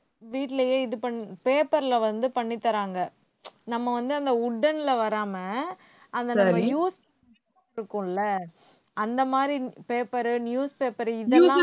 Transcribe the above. வீட்டுலயே இது பண்ணு paper ல வந்து பண்ணிதர்றாங்க நம்ம வந்து அந்த wooden ல வராம அந்த use இருக்கும்ல அந்த மாதிரி paper newspaper இதெல்லாம்